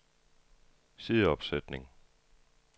sideopsætning